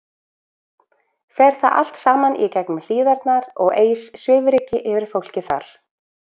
Fer það allt saman í gegnum Hlíðarnar og eys svifryki yfir fólkið þar?